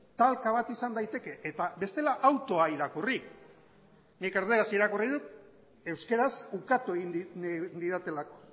talka bat izan daiteke eta bestela autoa irakurri nik erdaraz irakurri dut euskaraz ukatu egin didatelako